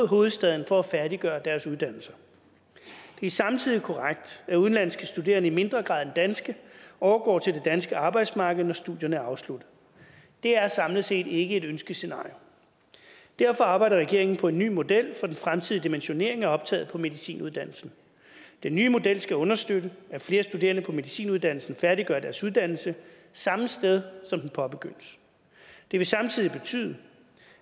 hovedstaden for at færdiggøre deres uddannelse det er samtidig korrekt at udenlandske studerende i mindre grad end danske overgår til det danske arbejdsmarked når studierne er afsluttet det er samlet set ikke et ønskescenarie derfor arbejder regeringen på en ny model for den fremtidige dimensionering af optaget på medicinuddannelsen den nye model skal understøtte at flere studerende på medicinuddannelsen færdiggør deres uddannelse samme sted som den påbegyndes det vil samtidig betyde